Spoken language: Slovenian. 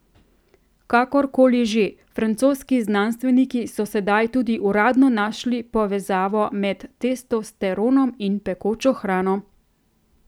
Kakor koli že, francoski znanstveniki so sedaj tudi uradno našli povezavo med testosteronom in pekočo hrano.